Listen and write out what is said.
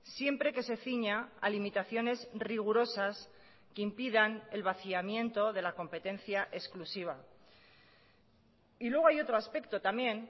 siempre que se ciña a limitaciones rigurosas que impidan el vaciamiento de la competencia exclusiva y luego hay otro aspecto también